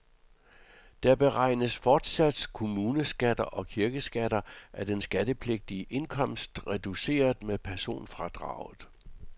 Der beregnes fortsat kommuneskatter og kirkeskatter af den skattepligtige indkomst reduceret med personfradraget.